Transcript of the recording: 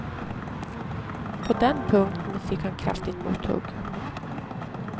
På den punkten fick han kraftigt mothugg.